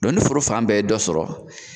ni foro fan bɛɛ ye dɔ sɔrɔ